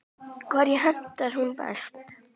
Hverjum hentar hún best?